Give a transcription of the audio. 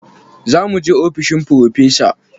Za mu he ofishin Firofesa.